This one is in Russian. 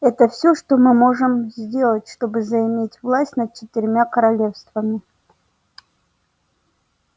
это все что мы можем сделать чтобы заиметь власть над четырьмя королевствами